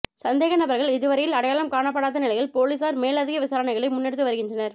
சந்தேக நபர்கள் இதுவரையில் அடையாளம் காணப்படாத நிலையில் பொலிஸார் மேலதிக விசாரணைகளை முன்னெடுத்து வருகின்றனர்